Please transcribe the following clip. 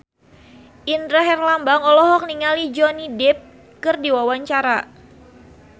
Indra Herlambang olohok ningali Johnny Depp keur diwawancara